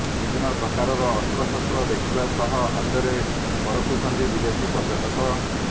ବିଭିନ୍ନ ପ୍ରକାରର ଅସ୍ତ୍ରଶସ୍ତ୍ର ଦେଖିବା ସହ ହାତରେ ପରଖୁଛନ୍ତି ବିଦେଶୀ ପର୍ଯ୍ୟଟକ